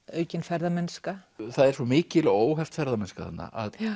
aukin ferðamennska það er svo mikil og óheft ferðamennska þarna að